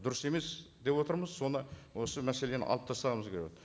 дұрыс емес деп отырмыз соны осы мәселені алып тастағымыз келіп отыр